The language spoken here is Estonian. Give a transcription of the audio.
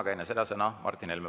Aga enne seda on sõna Martin Helmel.